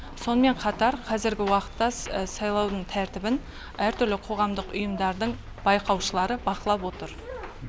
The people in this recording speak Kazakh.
сонымен қатар қазіргі уақытта сайлаудың тәртібін әртүрлі қоғамдық ұйымдардың байқаушылары бақылап отыр